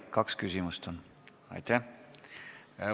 Kaks küsimust on võimalik esitada.